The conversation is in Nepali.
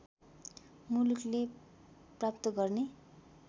मुलुकले प्राप्त गर्ने